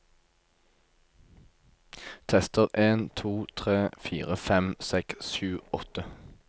Tester en to tre fire fem seks sju åtte